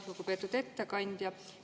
Lugupeetud ettekandja!